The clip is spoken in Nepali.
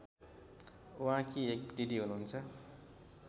उहाँकी एक दिदी हुनुहुन्छ